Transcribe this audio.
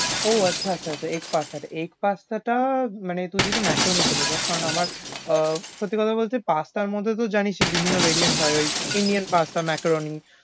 ও আচ্ছা আচ্ছা, egg pasta টা egg pasta টা মানে তুই যদি macaroni খেতে চাস কারণ আমার আহ সত্যি কথা বলতে pasta মধ্যে তো জানিসই বিভিন্ন varient হয়, ওই indian pasta, macaroni